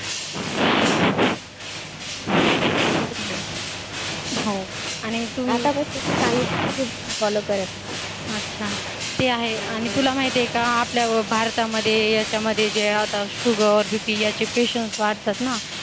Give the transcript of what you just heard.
हो आणि तुम्ही आता कस तू सांगितलं तशीच FOLLOW करेन अच्छा ते आहे आणि तुला माहितीये का आपल्या भारतामध्ये याच्यामध्ये जे आता SUGAR BP याचे patients वाढतात ना